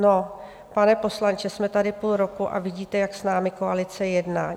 No, pane poslanče, jsme tady půl roku a vidíte, jak s námi koalice jedná.